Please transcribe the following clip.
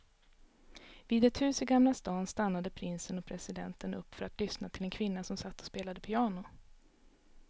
Vid ett hus i gamla stan stannade prinsen och presidenten upp för att lyssna till en kvinna som satt och spelade piano.